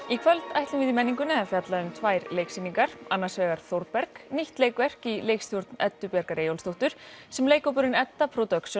í kvöld ætlum við í menningunni að fjalla um tvær leiksýningar annars vegar Þórberg nýtt leikverk í leikstjórn Eddu Bjargar Eyjólfsdóttur sem leikhópurinn Edda